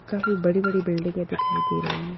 काफी बड़ी-बड़ी बिल्डिंगे दिखाई दे रही हैं।